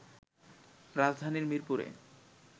রাজধানীর মিরপুরে